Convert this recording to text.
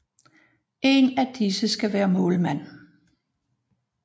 En af disse skal være målmand